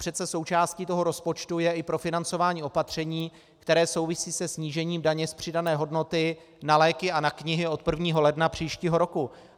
Přece součástí toho rozpočtu je i profinancování opatření, které souvisí se snížením daně z přidané hodnoty na léky a na knihy od 1. ledna příštího roku.